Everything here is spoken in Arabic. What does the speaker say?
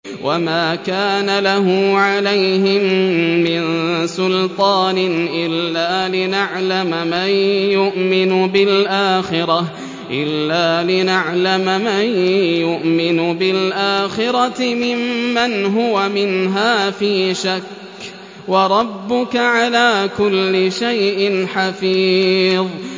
وَمَا كَانَ لَهُ عَلَيْهِم مِّن سُلْطَانٍ إِلَّا لِنَعْلَمَ مَن يُؤْمِنُ بِالْآخِرَةِ مِمَّنْ هُوَ مِنْهَا فِي شَكٍّ ۗ وَرَبُّكَ عَلَىٰ كُلِّ شَيْءٍ حَفِيظٌ